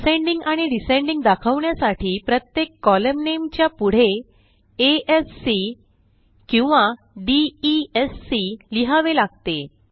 ascending आणि descending दाखवण्यासाठी प्रत्येक कोलम्न nameच्या पुढे आ स् सी किंवा डी ई स् सी लिहावे लागते